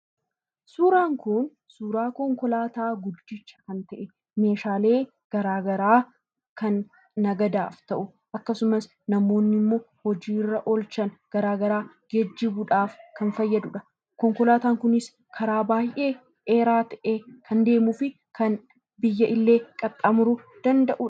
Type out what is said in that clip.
Suuraan kun suuraa konkolaataa guddicha kan ta'e, meeshaalee garaa garaa kan daldalaaf ta'u, akkasumas namoonni immoo hojii irra oolchan garaa garaa geejibuudhaaf kan fayyadudha. Konkolaataan kunis, karaa baay'ee dheeraa ta'e kan deemuu fi kan biyya illee qaxxaamuruu danda'udha.